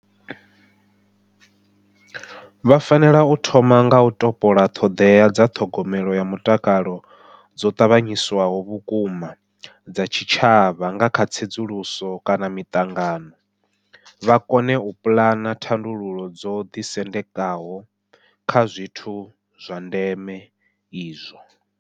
Vha fanela u thoma nga u topola ṱhoḓea dza ṱhogomelo ya mutakalo dzo ṱanganyiswaho vhukuma dza tshitshavha kha tsedzuluso kana miṱangano, vha kone u puḽana thandululo dzo ḓisendekaho kha zwithu zwa ndeme izwo.